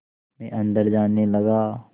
मैं अंदर जाने लगा